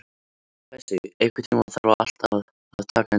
Bessi, einhvern tímann þarf allt að taka enda.